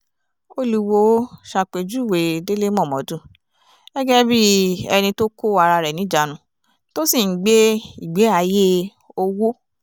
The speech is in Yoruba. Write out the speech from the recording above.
olùwòo ṣàpèjúwe délé mómọ́dù gẹ́gẹ́ bíi ẹni tó kó ara rẹ̀ níjàánu tó sì ń gbé ìgbé-ayé owó